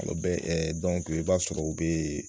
bɛ i b'a sɔrɔ u bɛ